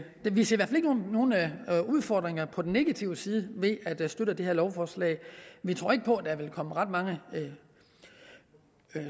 nogen udfordringer på den negative side ved at støtte det her lovforslag vi tror ikke på at der vil komme ret mange